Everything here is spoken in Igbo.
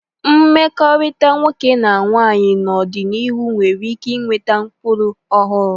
Mkpakọrịta nwoke na nwaanyị n'ọdịnihu nwere ike iweta ụkpụrụ ọhụrụ.